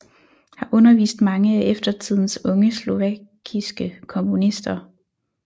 Har undervist mange af eftertidens unge slovakiske komponister